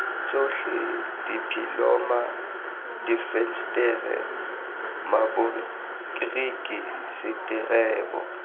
tsotlhe diphimola difensetere maboriki seterebo